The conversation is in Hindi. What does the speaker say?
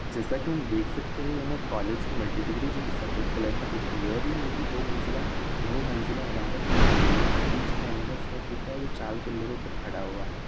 जैसा की हम देख सकते है हमे कॉलेज की मल्टी डिग्री दिख रही है जो कि सफेद कलर में दिख रही है और यह मल्टी दो मंजिला बहु मंजिला इमारत दिख रहा है इसमें बिच में एंडोस्केप दिख रहा है जो चार पिलरो पे खड़ा हुआ है।